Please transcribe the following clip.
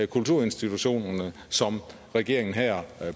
kulturinstitutionerne som regeringen her